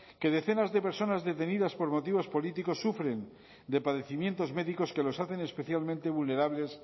que decenas de personas detenidas por motivos políticos sufren de padecimientos médicos que los hacen especialmente vulnerables